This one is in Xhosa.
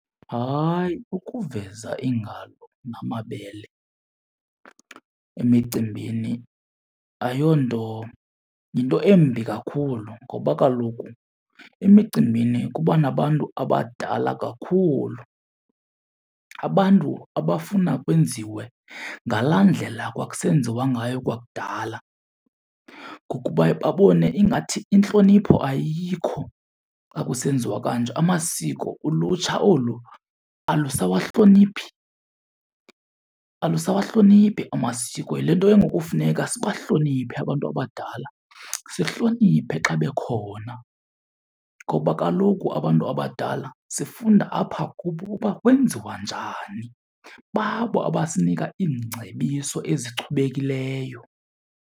Hayi, ukuveza iingalo namabele emicimbini ayonto, yinto embi kakhulu. Ngoba kaloku emicimbini kuba nabantu abadala kakhulu, abantu abafuna kwenziwe ngalaa ndlela kwakusenziwa ngayo kwakudala. Ngoku baye babone ingathi intlonipho ayikho xa kusenziwa kanje. Amasiko ulutsha olu alusawahloniphi, alusawahloniphi amasiko yile nto ke ngoku kufuneka sibahloniphe abantu abadala, sihloniphe xa bekhona. Ngoba kaloku abantu abadala sifunda apha kubo uba kwenziwa njani, babo abasinika iingcebiso ezichubekileyo.